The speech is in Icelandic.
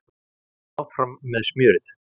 Áfram með smjörið